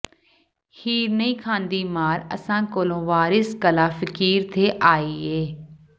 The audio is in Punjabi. ਹੀਰ ਨਹੀਂ ਖ਼ਾਂਦੀ ਮਾਰ ਅਸਾਂ ਕੋਲੋਂ ਵਾਰਸ ਕਲ੍ਹਾ ਫਕੀਰ ਥੇ ਆਈ ਏ